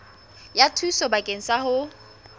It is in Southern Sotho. ya thuso bakeng sa ho